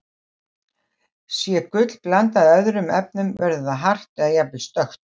Sé gull blandað öðrum efnum, verður það hart eða jafnvel stökkt.